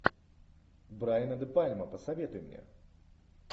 брайана де пальма посоветуй мне